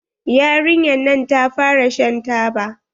Yarinyar nan ta fara shan taba.